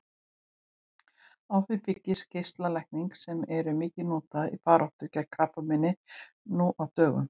Á því byggjast geislalækningar sem eru mikið notaðar í baráttunni gegn krabbameini nú á dögum.